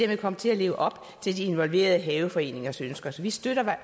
vil komme til at leve op til de involverede haveforeningers ønsker så vi støtter